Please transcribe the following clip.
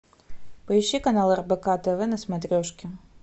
поищи канал рбк тв на смотрешке